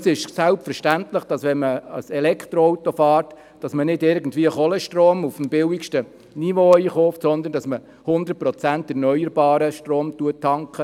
Es ist selbstverständlich, dass wenn man ein Elektroauto fährt, man nicht Kohlenstrom auf dem billigsten Niveau einkauft, sondern dass man zu hundert Prozent erneuerbaren Strom tankt.